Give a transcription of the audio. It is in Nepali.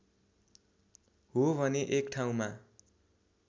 हो भने एक ठाउँमा